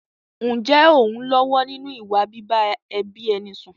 Ǹjẹ́ ò ń lọ́wọ́ nínú ìwà bíbá ẹbí ẹni sùn?